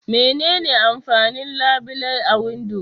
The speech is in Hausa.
Mene ne amfanin labile a windo?